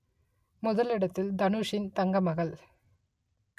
முதலிடத்தில் தனுஷின் தங்கமகள்